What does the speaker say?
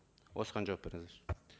осыған жауап беріңіздерші